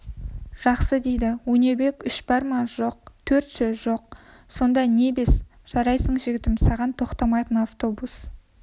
жақсы дейді өнербек үш бар ма жоқ төрт ше жоқ сонда не бес жарайсың жігітім саған тоқтамайтын автобус